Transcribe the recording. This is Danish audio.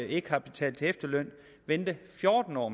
ikke har betalt til efterløn vente fjorten år